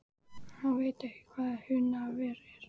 Hann veit ekki hvað Húnaver er!